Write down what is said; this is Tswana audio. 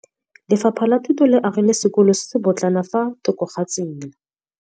Lefapha la Thuto le agile sekôlô se se pôtlana fa thoko ga tsela.